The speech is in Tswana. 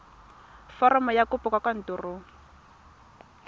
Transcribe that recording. foromo ya kopo kwa kantorong